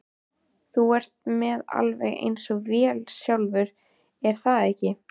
Þú ert með alveg eins vél sjálfur, er það ekki?